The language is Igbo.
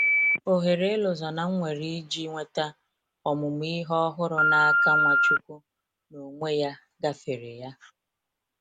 Oghere Elozonam nwere iji nweta ọmụmụ Ihe ọhụrụ na -aka Nwachukwu n'onwe ya gáfèrè ya